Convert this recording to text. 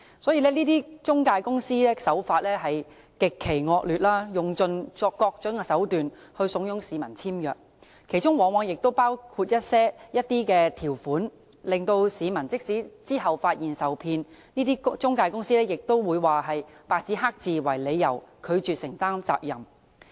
這些中介公司的手法極其惡劣，用盡各種手段慫恿市民簽約，其中往往包括一些條款，令市民即使在日後發現受騙，中介公司亦會以白紙黑字為由，拒絕承擔責任。